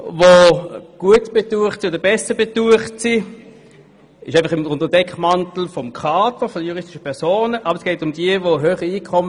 Man kann auch nachlesen, dass die Regierung sagt, man könne die Steuern für die natürlichen Personen bis und mit 2021 nicht senken.